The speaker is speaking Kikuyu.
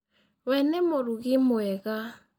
We nĩ mũrũgĩ mwega.